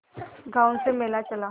गांव से मेला चला